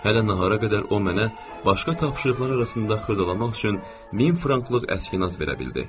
Hələ nahara qədər o mənə başqa tapşırıqları arasında xırdalamaq üçün 1000 franklıq əsginas verə bildi.